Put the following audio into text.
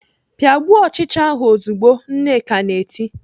"Pịagbuo ọchịcha ahụ ozugbo!" Nneka na-eti.